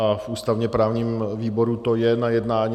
A v ústavně-právním výboru to je na jednání.